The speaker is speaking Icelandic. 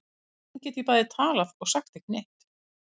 Hvernig get ég bæði talað og sagt ekki neitt?